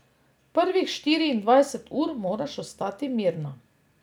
Prvih štiriindvajset ur moraš ostati mirna.